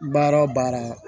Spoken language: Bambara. Baara o baara